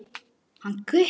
Hann Gutti?